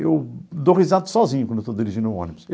Eu dou risada sozinho quando estou dirigindo o ônibus.